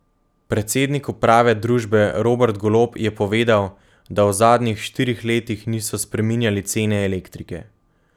Predsednik uprave družbe Robert Golob je povedal, da v zadnjih štirih letih niso spreminjali cene elektrike.